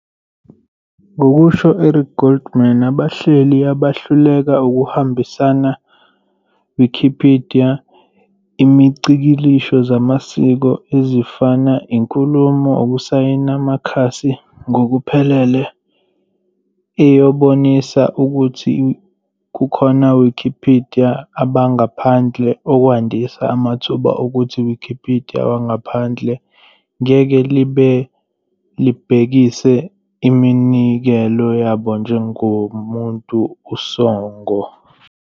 Ngokusho Eric Goldman, abahleli abahluleka ukuhambisana Wikipedia imicikilisho zamasiko, ezifana inkulumo ukusayina amakhasi, ngokuphelele eyobonisa ukuthi kukhona Wikipedia abangaphandle, okwandisa amathuba okuthi Wikipedia wangaphakathi ngeke libhekise iminikelo yabo njengomuntu usongo.